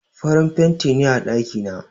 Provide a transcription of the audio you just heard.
Farin fenti ne a ɗaki na.